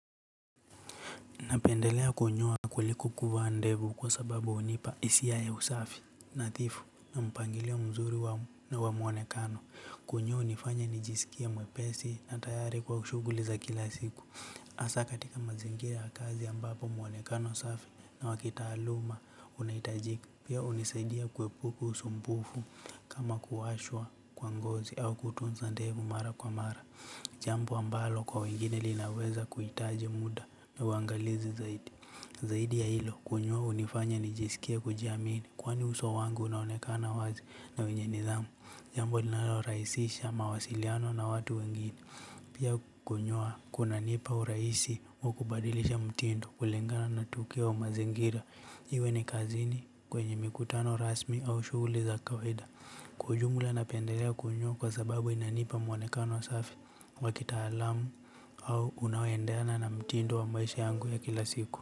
Napendelea kunyoa kuliko kuvaa ndevu kwa sababu hunipa hisia ya usafi, nadhifu na mpangilio mzuri wa muonekano. Kunyoa hunifanya nijisikie mwepesi na tayari kwa shughuli za kila siku. Hasa katika mazingira ya kazi ambapo muonekano safi na wakitaaluma unahitajika. Pia hunisaidia kuepuka usumbufu, kama kuwashwa kwa ngozi au kutunza ndevu mara kwa mara. Jambo ambalo kwa wengine linaweza kuhitaji muda na uangalizi zaidi. Zaidi ya hilo, kunyoa hunifanya nijisikid kujiamini kwani uso wangu unaonekana wazi na wenye nidhamu. Jambo linalorahisisha mawasiliano na watu wengine pia kunyoa kunanipa urahisi wa kubadilisha mtindo kulingana na tukio au mazingira. Iwe ni kazini, kwenye mikutano rasmi au shuguli za kawaida kwa ujumla napendelea kunyoa kwa sababu inanipa mwonekano safi, wakitaalamu au unaoendena na mtindo wa maisha yangu ya kila siku.